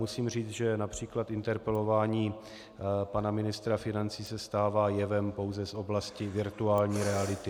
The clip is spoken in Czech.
Musím říct, že například interpelování pana ministra financí se stává jevem pouze z oblasti virtuální reality.